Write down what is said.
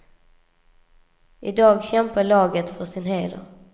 I dag kämpar laget för sin heder.